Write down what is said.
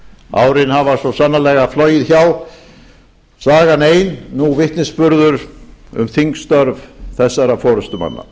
árin hafa svo sannarlega flogið hjá sagan ein nú vitnisburður um þingstörf þessara forustumanna